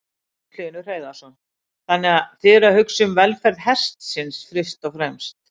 Magnús Hlynur Hreiðarsson: Þannig að þið eruð að hugsa um velferð hestsins fyrst og fremst?